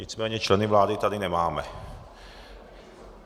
Nicméně členy vlády tady nemáme.